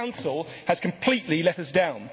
The Council has completely let us down.